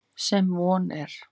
Sem von er.